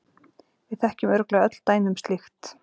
Við þekkjum örugglega öll dæmi um slíkt.